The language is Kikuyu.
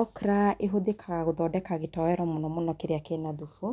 Okra ĩhũthĩkaga gũthondeka gĩtoero mũno mũno kĩrĩa kĩna thubu,